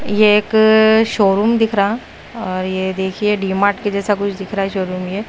ये एक शोरूम दिख रहा और यह देखिए डी मार्ट के जैसा कुछ दिख रहा है शोरूम ये।